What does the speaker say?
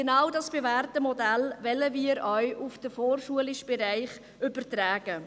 Genau dieses bewährte Modell wollen wir auf den vorschulischen Bereich übertragen.